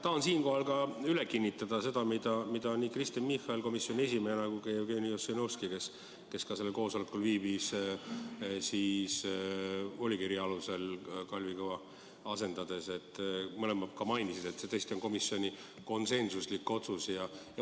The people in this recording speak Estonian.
Tahan siinkohal üle kinnitada seda, mida nii Kristen Michal komisjoni esimehena kui ka Jevgeni Ossinovski, kes samuti sellel koosolekul viibis, volikirja alusel Kalvi Kõva asendades, mõlemad juba mainisid: see tõesti on komisjoni konsensuslik otsus.